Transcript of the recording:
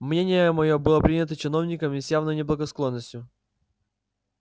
мнение моё было принято чиновниками с явною неблагосклонностию